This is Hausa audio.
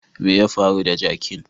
Me ya faru da jakin?